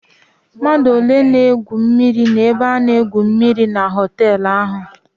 Mmadụ ole na-egwu mmịrị n'ebe a na-egwu mmịrị na họtelụ ahụ?